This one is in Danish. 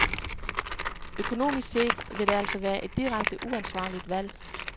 Økonomisk set vil det altså være et direkte uansvarligt valg.